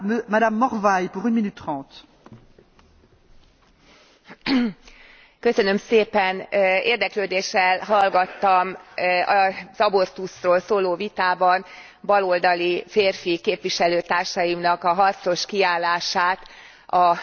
Érdeklődéssel hallgattam az abortuszról szóló vitában baloldali férfi képviselőtársaimnak a harcos kiállását, a nőknek a választáshoz való joga, illetve testük fölötti kontroll mellett.